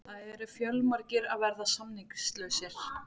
Það eru fjölmargir að verða samningslausir.